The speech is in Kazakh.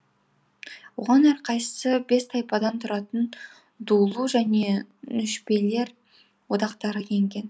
оған әрқайсысы бес тайпадан тұратын дулу және нүшбелер одақтары енген